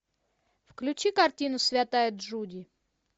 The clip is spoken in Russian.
включи картину святая джуди